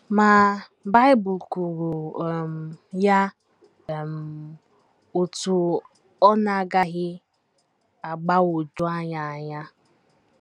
Ma, Bible kwuru um ya um otú ọ na - agaghị agbagwoju anyị anya.